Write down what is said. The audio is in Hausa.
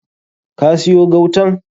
Ka siyo gautan?